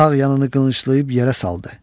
Sağ yanını qılınclayıb yerə saldı.